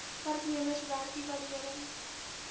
werknemers werk evaluerings